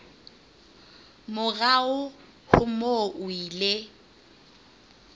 morao ho moo o ile